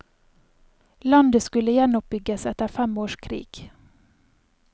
Landet skulle gjenoppbygges etter fem års krig.